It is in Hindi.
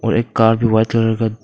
और एक कार भी व्हाइट कलर का--